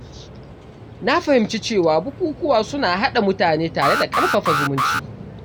Na fahimci cewa bukukuwa suna haɗa mutane tare da ƙarfafa zumunci.